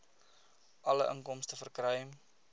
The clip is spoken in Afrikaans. alle inkomste verkry